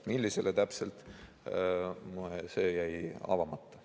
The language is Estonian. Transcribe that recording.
Millisele täpselt, see jäi avamata.